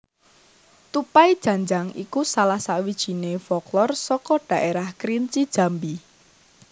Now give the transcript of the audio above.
Tupai Janjang iku salah sawijinè folklor saka dhaérah Kerinci Jambi